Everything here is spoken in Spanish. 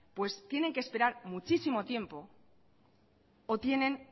tienen que esperar muchísimo tiempo o tienen